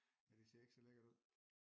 Ja det ser ikke så lækkert ud